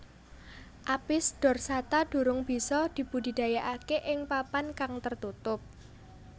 Apis dorsata durung bisa dibudidayakake ing papan kang tertutup